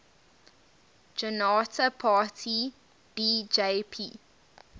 janata party bjp